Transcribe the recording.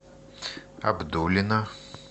абдулино